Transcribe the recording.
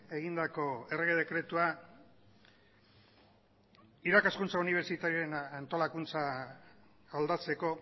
egindako errege dekretua irakaskuntza unibertsitarioen antolakuntza aldatzeko